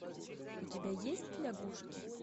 у тебя есть лягушки